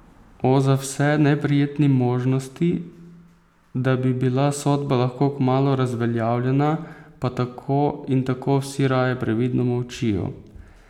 O za vse neprijetni možnosti, da bi bila sodba lahko kmalu razveljavljena, pa tako in tako vsi raje previdno molčijo.